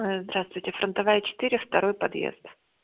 здравствуйте фронтовая четыре второй подъезд